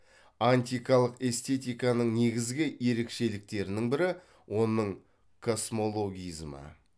антикалық эстетиканың негізгі ерекшеліктерінің бірі оның космологизмі